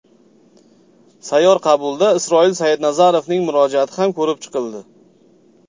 Sayyor qabulda Isroil Sayidnazarovning murojaati ham ko‘rib chiqildi.